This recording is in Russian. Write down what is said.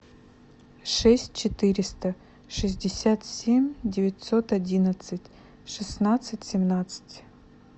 шесть четыреста шестьдесят семь девятьсот одиннадцать шестнадцать семнадцать